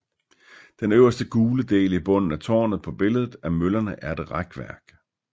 Den øverste gule del i bunden af tårnet på billedet af møllerne er et rækværk